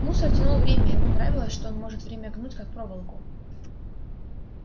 мусор тянул время ему нравилось что он может время гнуть как проволоку